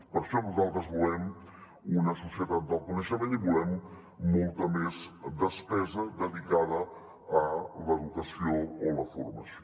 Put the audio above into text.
per això nosaltres volem una societat del coneixement i volem molta més despesa dedicada a l’educació o la formació